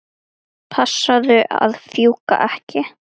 Passaðu að fjúka ekki.